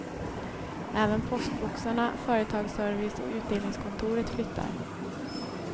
Även postboxarna, företagsservice och utdelningskontoret flyttar.